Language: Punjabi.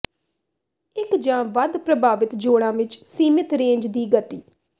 ਇੱਕ ਜਾਂ ਵੱਧ ਪ੍ਰਭਾਵਿਤ ਜੋਡ਼ਾਂ ਵਿੱਚ ਸੀਮਿਤ ਰੇਂਜ ਦੀ ਗਤੀ